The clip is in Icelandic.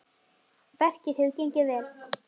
Verkið hefur gengið vel.